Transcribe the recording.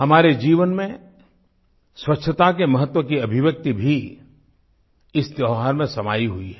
हमारे जीवन में स्वच्छता के महत्व की अभिव्यक्ति भी इस त्योहार में समाई हुई है